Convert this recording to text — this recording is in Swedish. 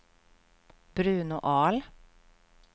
Bruno Ahl